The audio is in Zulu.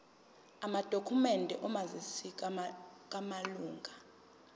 amadokhumende omazisi wamalunga